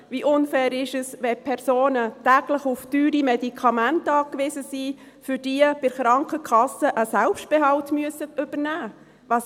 Wie unfair ist es, wenn Personen täglich auf teure Medikamente angewiesen sind und für diese bei der Krankenkasse einen Selbstbehalt übernehmen müssen?